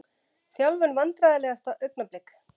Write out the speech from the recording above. Þjálfun Vandræðalegasta augnablik?